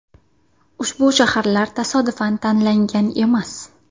Ushbu shaharlar tasodifan tanlangan emas.